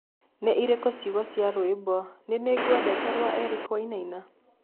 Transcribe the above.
ni ĩrĩkũ ciugo cĩa rwĩmbo ni nĩngwendete rwa Eric wainaina